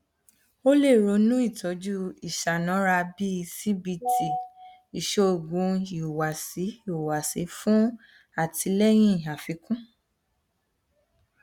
o le ronu itọju iṣanara bii cbt iṣoogun ihuwasi ihuwasi fun atilẹyin afikun